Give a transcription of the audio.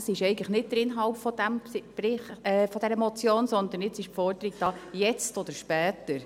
Das ist eigentlich nicht der Inhalt dieser Motion, sondern jetzt ist die Forderung da: jetzt oder später.